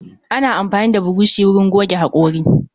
Ana amfani da burushi wurin goge hakori.